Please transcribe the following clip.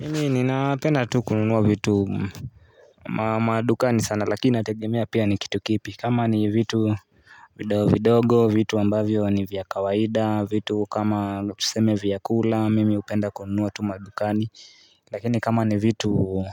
Mimi ninapenda tu kununua vitu madukani sana lakini inategemea pia ni kitu kipi kama ni vitu vidogo vidogo vitu ambavyo ni vya kawaida vitu kama lo tuseme vyakula mimi hupenda kununua tu madukani lakini kama ni vitu